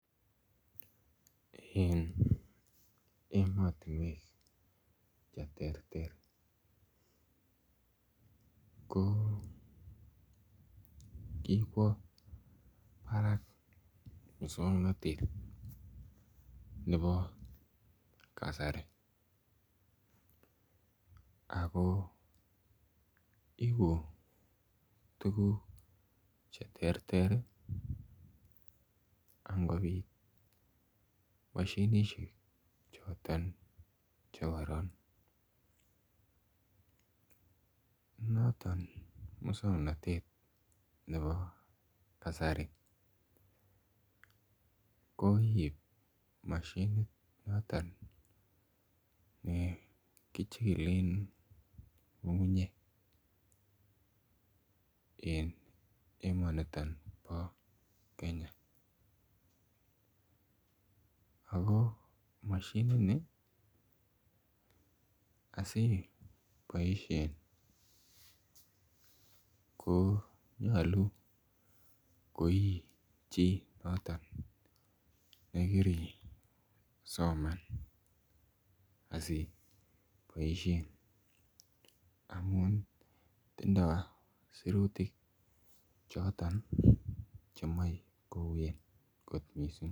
Eng emotinwek che ter ter ko kikwo barak muswongnotet nebo kasari ako ibu tukuk che ter ter angobit mashinishek choton chekoron noton muswongnotet nebo kasari koip mashinit noton nekichikilen ng'ung'unyek en emoni po Kenya ako mashinit ni asiboishe ko nyolu ko ii chii noto nekiri somanet asiboishe amun tindoi sirutik choto chemoe kouen kot missing.